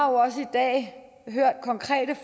jo